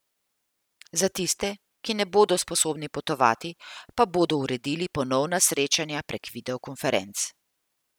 Za tiste, ki ne bodo sposobni potovati, pa bodo uredili ponovna srečanja prek videokonferenc.